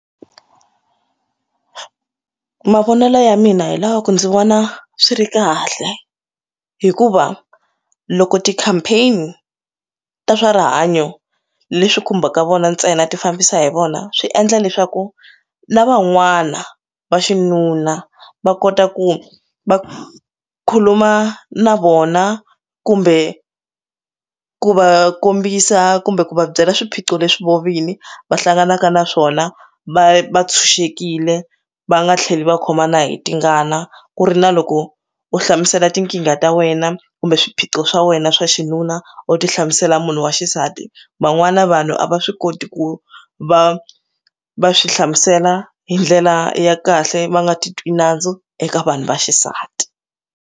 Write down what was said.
Mavonelo ya mina hi lava ku ndzi vona swi ri kahle hikuva loko ti campaign ta swa rihanyo leswi khumbaka vona ntsena ti fambisa hi vona swi endla leswaku lava n'wana va xinuna va kota ku va khuluma na vona kumbe ku va kombisa kumbe ku va byela swiphiqo leswi voho vini va hlanganaka na swona va va tshunxekile va nga tlheli va khomana hi tingana ku ri na loko u hlamusela tinkingha ta wena kumbe swiphiqo swa wena swa xinuna u ti hlamusela munhu wa xisati van'wana vanhu a va swi koti ku va va swi hlamusela hi ndlela ya kahle va nga ti twi nandzu eka vanhu va xisati.